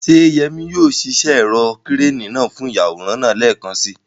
Ṣé Yemi yóò ṣiṣẹ́ ẹ̀rọ ìkẹ́rẹ́nì náà fún ìyàwòrán ńlá lẹ́ẹ̀kan si?